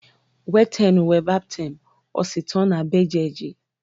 Whetẹnu wẹ baptẹm osin tọn na bẹjẹeji?